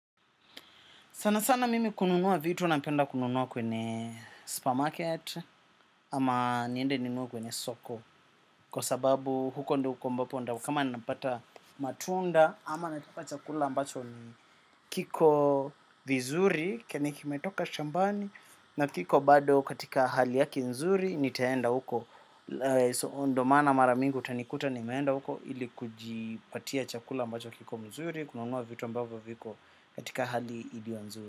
Sana sana mimi kununua vitu napenda kununua kwenye supermarket ama niende ninunue kwenye soko kwa sababu kama napata matunda ama nataka chakula ambacho ni kiko vizuri kenye kimetoka shambani na kiko bado katika hali yake nzuri nitaenda huko. Ndiyo maana mara mingi utanikuta nimeenda huko ili kujipatia chakula ambacho kiko mzuri kununua vitu ambavyo viko katika hali iliyo nzuri.